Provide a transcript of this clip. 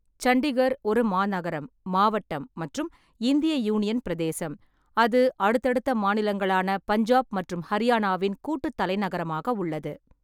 சண்டிகர் ஒரு மாநகரம், மாவட்டம் மற்றும் இந்திய யூனியன் பிரதேசம், அது அடுத்தடுத்த மாநிலங்களான பஞ்சாப் மற்றும் ஹரியானாவின் கூட்டுத் தலைநகரமாக உள்ளது.